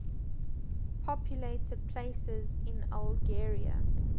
populated places in algeria